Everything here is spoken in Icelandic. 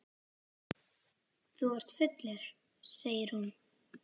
Þú ert fullur, segir hún.